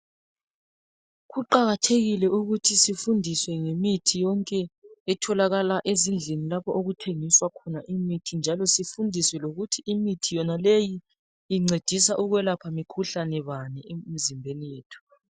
Kuqakathekile ukuthi sifundiswe ngemithi yonke etholakala ezindlini lapho okuthengiswa khona imithi njalo sifundiswe lokuthi imithi yonaleyi incedisa ukwelapha mikhuhlane bani emizimbeni yethu.